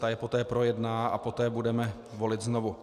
Ta je poté projedná a poté budeme volit znovu.